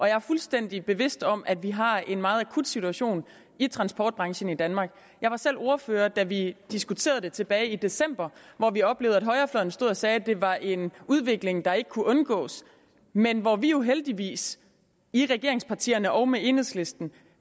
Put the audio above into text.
jeg er fuldstændig bevidst om at vi har en meget akut situation i transportbranchen i danmark jeg var selv ordfører da vi diskuterede det tilbage i december hvor vi oplevede at højrefløjen stod og sagde at det var en udvikling der ikke kunne undgås men hvor vi jo heldigvis i regeringspartierne og med enhedslisten